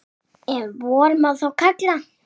Ef vor má þá kalla.